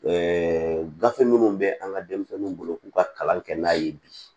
gafe minnu bɛ an ka denmisɛnninw bolo k'u ka kalan kɛ n'a ye bi